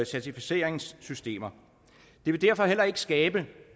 certificeringssystemer det vil derfor heller ikke umiddelbart skabe